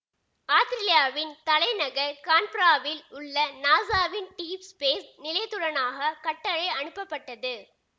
ஆத்திரேலியாவின் தலைநகர் கான்பராவில் உள்ள நாசாவின் டீப் ஸ்பேஸ் நிலையத்தினூடாக கட்டளை அனுப்பப்பட்டது